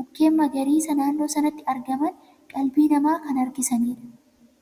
mukkeen magariisa naannoo sanatti argaman qalbii namaa kan harkisanidha.